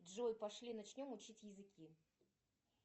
джой пошли начнем учить языки